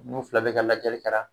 N'u fila bɛɛ ka lajɛli kɛ la